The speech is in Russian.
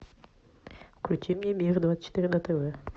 включи мне мир двадцать четыре на тв